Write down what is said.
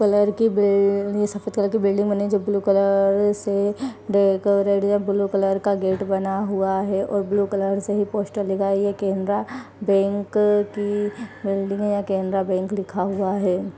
Colour की बिल अ सफ़ेद कलर की बिल्डिंग बनी हुई है जो ब्लू कलर से रेड या ब्लू कलर का गेट बना हुआ है और ब्लू कलर से ही पोस्टर लिखा है ये केनरा बैंक की बिल्डिंग है ये केनरा बैंक लिखा हुआ है।